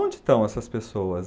Onde estão essas pessoas?